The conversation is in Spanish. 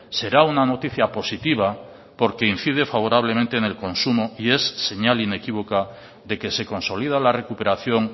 será una noticia positiva porque incide favorablemente en el consumo y es señal inequívoca de que se consolida la recuperación